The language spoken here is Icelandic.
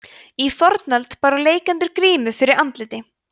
í fornöld báru leikendur grímu fyrir andliti